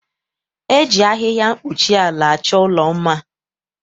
E ji ahịhịa mkpuchiala achọ ụlọ mma.